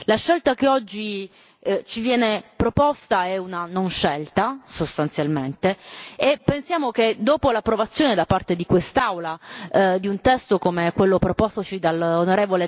La scelta che oggi ci viene proposta è una non scelta, sostanzialmente, e pensiamo che l'approvazione da parte di quest'Aula di un testo come quello propostoci dall'on.